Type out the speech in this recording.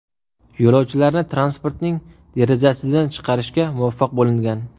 Yo‘lovchilarni transportning derazasidan chiqarishga muvaffaq bo‘lingan.